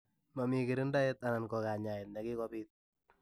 Mamii kirindaet anan ko kanyaet nekikopiit.